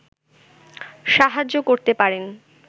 সাহায্য করতে পারেন